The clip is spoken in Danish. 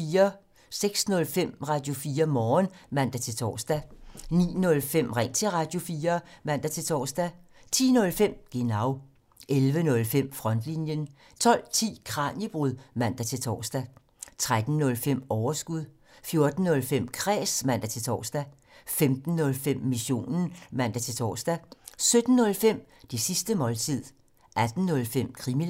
06:05: Radio4 Morgen (man-tor) 09:05: Ring til Radio4 (man-tor) 10:05: Genau 11:05: Frontlinjen 12:10: Kraniebrud (man-tor) 13:05: Overskud 14:05: Kræs (man-tor) 15:05: Missionen (man-tor) 17:05: Det sidste måltid 18:05: Krimiland